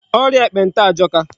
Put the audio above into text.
Ọrịa ekpenta ajọka.